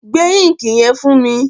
Gbé íǹkì yẹn fún mi!